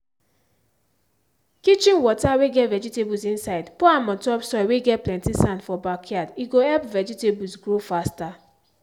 kitchen water whey get vegetables insidepour am on top soil whey get plenty sand for backyard he go help vegetables grow faster.